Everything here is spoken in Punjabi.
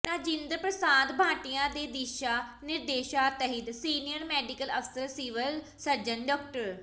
ਰਾਜਿੰਦਰ ਪ੍ਰਸ਼ਾਦ ਭਾਟੀਆ ਦੇ ਦਿਸ਼ਾ ਨਿਰਦੇਸ਼ਾਂ ਤਹਿਤ ਸੀਨੀਅਰ ਮੈਡੀਕਲ ਅਫਸਰ ਸਿਵਲ ਸਰਜਨ ਡਾ